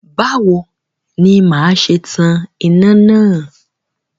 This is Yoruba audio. Báwo ni màá ṣe tan iná náà?